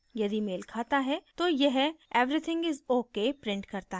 यदि मेल खाता है तो यह everything is ok prints करता है